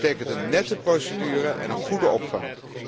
Dat betekent een nette procedure en een goede opvang.